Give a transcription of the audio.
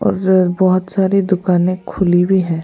और बहुत सारी दुकानें खुली भी हैं।